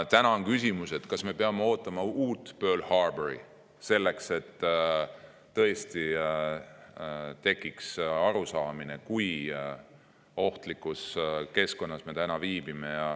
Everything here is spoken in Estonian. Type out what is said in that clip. Täna on küsimus, kas me peame ootama uut Pearl Harborit, selleks et tõesti tekiks arusaamine, kui ohtlikus keskkonnas me viibime.